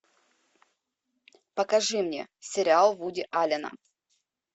покажи мне сериал вуди аллена